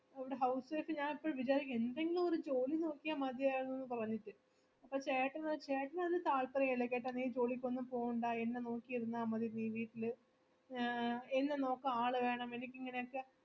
housewife ഞാൻ എപ്പഴും വിചാരിക്ക്മ എന്തെങ്കിൽം ജോലിനോക്കിയ മതിയാരുന്നു പറഞ്ഞിട്ട് അപ്പൊ ചേട്ടനോ ചേട്ടനൊരു താല്പര്യയില്ല കേട്ട നീ ജോലിക്കൊന്നും പോവണ്ട എന്നെനോക്കിയിരുന്നാമതി നീ വീട്ടില് എ എന്നെനോക്കാൻ ആളുവേണം എനിക്കിങ്ങനെയൊക്കെ